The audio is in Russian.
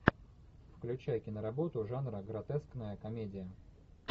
включай киноработу жанра гротескная комедия